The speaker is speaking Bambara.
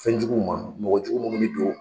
Fɛnjuguw ma mɔgɔ jugu munnu be don